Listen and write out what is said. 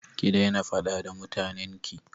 Ki daina faɗa da mutanen ki!